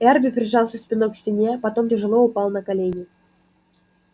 эрби прижался спиной к стене потом тяжело упал на колени